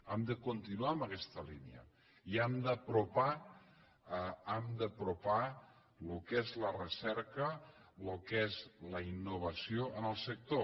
hem de continuar en aquesta línia i hem d’apropar el que és la recerca el que és la innovació en el sector